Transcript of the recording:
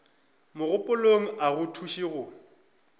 mogopolong a go thuše go